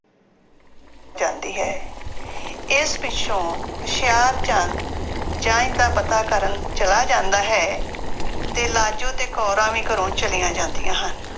ਜਾਂਦੀ ਹੈ ਇਸ ਪਿੱਛੋਂ ਹੁਸ਼ਿਆਰਚੰਦ ਦਾ ਪਤਾ ਕਰਨ ਚਲਾ ਜਾਂਦਾ ਹੈ, ਤੇ ਲਾਜੋ ਤੇ ਕੋਰਾਂ ਵੀ ਘਰੋਂ ਚਲੀਆਂ ਜਾਂਦੀਆਂ ਹਨ।